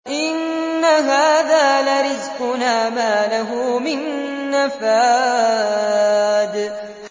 إِنَّ هَٰذَا لَرِزْقُنَا مَا لَهُ مِن نَّفَادٍ